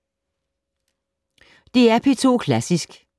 DR P2 Klassisk